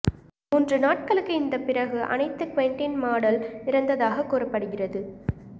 மூன்று நாட்களுக்குப் இந்த பிறகு அனைத்து க்வென்டின் மார்டெல் இறந்ததாக கூறப்படுகிறது